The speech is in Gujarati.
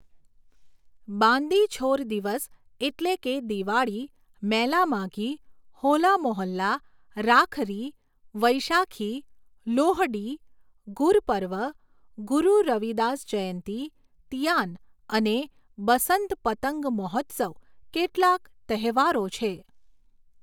બાંદી છોર દિવસ એટલે કે દિવાળી, મેલા માઘી, હોલા મોહલ્લા, રાખરી, વૈશાખી, લોહડી, ગુરપર્વ, ગુરુ રવિદાસ જયંતી, તીયાન અને બસંત પતંગ મહોત્સવ કેટલાક તહેવારો છે